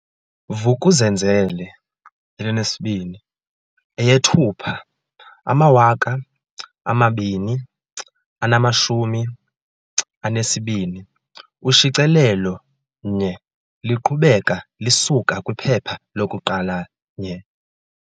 Vuk'uzenzele2EyeThupha 2022 Ushicilelo 1Liqhubeka lisuka kwiphepha loku-1